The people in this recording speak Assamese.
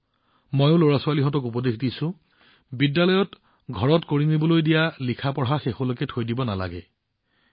মই লৰাছোৱালীসকলকো কও যে শেষ দিনটোৰ বাবে হোমৱৰ্ক পেণ্ডিং কৰি নাৰাখিব